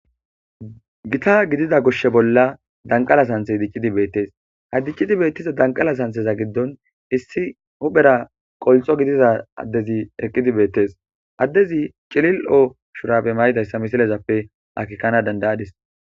Gita gidiza gushshe bolla danqala santhe diccidi beettes ha diccidi beettiza danqala santheza giddon issi huphera qolxo gidiza addezi eqqidi beettes addezi cilil7o shurappe maydayssa misilezappe akikkana dandayadis.